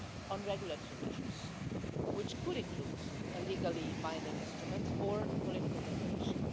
on regulatory measures, which could include a legally-binding instrument or a political declaration.